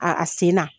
A a sen na